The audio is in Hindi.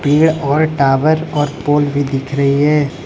पेड़ और टावर और पोल भी दिख रही है।